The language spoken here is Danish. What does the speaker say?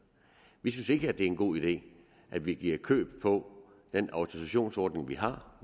vi synes ikke det er en god idé at vi giver køb på den autorisationsordning vi har